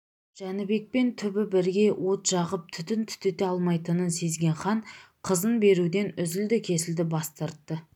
жәнібекпен түбі бірге от жағып түтін түтете алмайтынын сезген хан қызын беруден үзілді-кесілді бас тартты